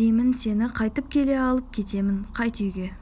деймін сені қайтып келіп алып кетемін қайт үйге